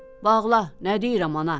“Bağla, nə deyirəm ana?”